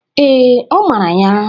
Ee, ọ mara ya.